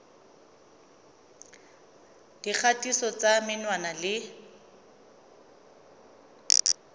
ya dikgatiso tsa menwana le